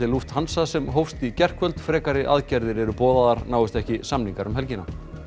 Lufthansa sem hófst í gærkvöld frekari aðgerðir eru boðaðar náist ekki samningar um helgina